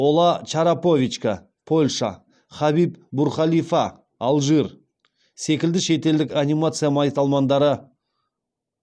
ола чараповичка польша хабиб бурхалифа алжир секілді шетелдік анимация майталмандары